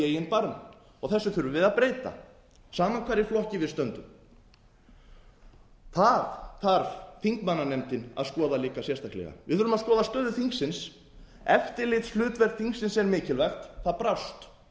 í eigin barm og þessu þurfum við að breyta sama hvar í flokki við stöndum það þarf þingmannanefndin að skoða líka sérstaklega við þurfum að skoða stöðu þingsins eftirlitshlutverk þingsins er mikilvægt að brást